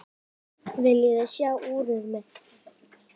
Þeir voru allir önnum kafnir.